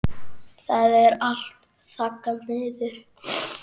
Það er allt þaggað niður.